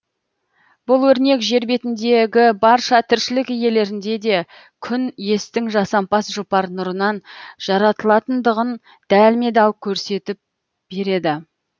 бұл өрнек жер бетіндегі барша тіршілік иелерінің де күн естің жасампаз жұпар нұрынан жаратылатындығын дәлме дәл көрсетіп береді